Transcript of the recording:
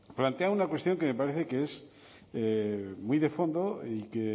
plantea una cuestión que me parece que es muy de fondo y que